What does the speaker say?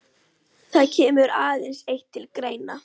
Það kemur aðeins eitt til greina.